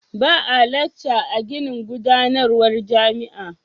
Ba a lakca a ginin gudanarwa jami'a.